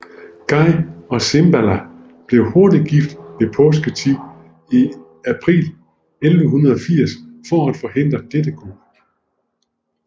Guy og Sibylla blev hurtigt gift ved påsketid i april 1180 for at forhindre dette kup